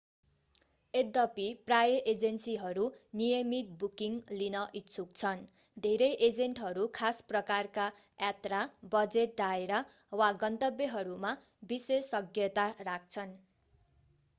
यद्दपी प्राय एजेन्सीहरू नियमित बुकिङ लिन इच्छुक छन् धेरै एजेन्टहरू खास प्रकारका यात्रा बजेट दायरा वा गन्तव्यहरूमा विशेषज्ञता राख्छन्